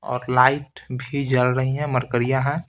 और लाइट भी जल रही है मरकरि या है।